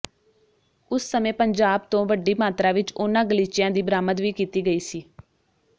ਉਸ ਸਮੇਂ ਪੰਜਾਬ ਤੋਂ ਵੱਡੀ ਮਾਤਰਾ ਵਿਚ ਉਨ੍ਹਾਂ ਗਲੀਚਿਆਂ ਦੀ ਬਰਾਮਦ ਵੀ ਕੀਤੀ ਗਈ ਸੀ